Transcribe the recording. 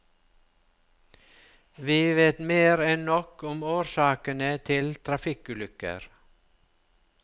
Vi vet mer enn nok om årsakene til trafikkulykker.